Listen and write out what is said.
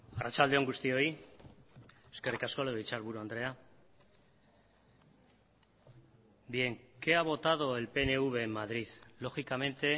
arratsalde on guztioi eskerrik asko legebiltzarburu andrea bien qué ha votado el pnv en madrid lógicamente